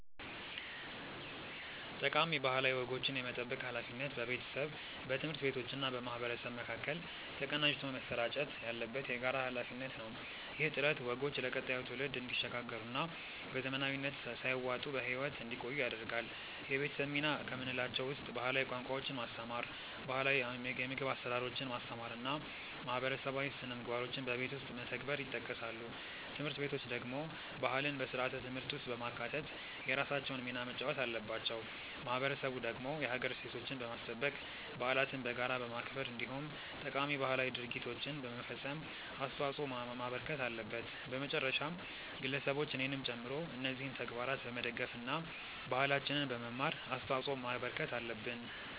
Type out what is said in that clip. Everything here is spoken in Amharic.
ጠቃሚ ባህላዊ ወጎችን የመጠበቅ ሃላፊነት በቤተሰብ፣ በትምህርት ቤቶችና በማህበረሰብ መካከል ተቀናጅቶ መሰራጨት ያለበት የጋራ ሃላፊነት ነው። ይህ ጥረት ወጎቹ ለቀጣዩ ትውልድ እንዲሸጋገሩና በዘመናዊነት ሳይዋጡ በህይወት እንዲቆዩ ያደርጋል። የቤተሰብ ሚና ከምንላቸው ውስጥ ባህላዊ ቋንቋዎችን ማስተማር፣ ባህላው የምግብ አሰራሮችን ማስተማር እና ማህበረሰባዊ ስነምግባሮችን በቤት ውስጥ መተግበር ይጠቀሳሉ። ትምህርት ቤቶች ደግሞ ባህልን በስርዓተ ትምህርት ውስጥ በማካተት የራሳቸውን ሚና መጫወት አለባቸው። ማህበረሰቡ ደግሞ የሀገር እሴቶችን በማስጠበቅ፣ በዓለትን በጋራ በማክበር እንዲሁም ጠቃሚ ባህላዊ ድርጊቶችን በመፈፀም አስተዋጽዖ ማበርከት አለበት። በመጨረሻም ግለሰቦች እኔንም ጨምሮ እነዚህን ተግባራት በመደገፍ እና ባህላችንን በመማር አስተዋጽዖ ማበርከት አለብን።